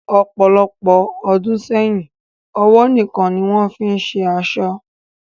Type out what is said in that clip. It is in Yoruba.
Ọpọlọpọ̀ ọdún sẹyìn, ọwọ níkan ni wọn fìí ń ṣe aṣọ